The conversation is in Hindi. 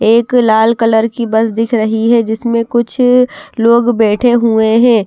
एक लाल कलर की बस दिख रही है जिसमें कुछ लोग बैठे हुए हैं।